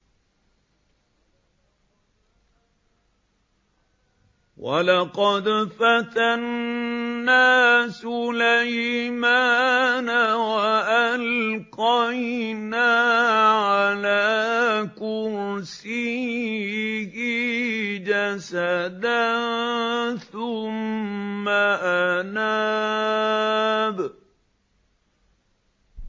وَلَقَدْ فَتَنَّا سُلَيْمَانَ وَأَلْقَيْنَا عَلَىٰ كُرْسِيِّهِ جَسَدًا ثُمَّ أَنَابَ